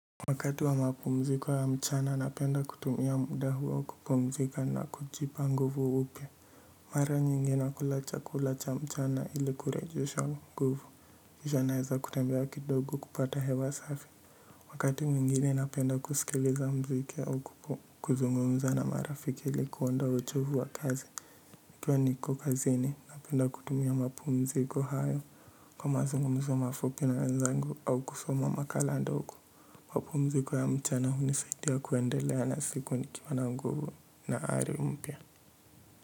Wakati wa mapumziko ya mchana na penda kutumia muda huo kupumzika na kujipa nguvu upya mara nyingi nakula chakula cha mchana ili kurejesha nguvu kishwa naeza kutembea kidogo kupata hewa safi wakati mwingine na penda kusikiliza mziki au kuzungumza na marafiki ili kuondoa ochovu wa kazi nikiwa niko kazini na penda kutumia mapumziko hayo kwa mazungumzo mafupi na wenzangu au kusoma makala ndogo mapumziko ya mchana hunisaidia kuendelea na siku nikiwa na nguvu na ari mpya.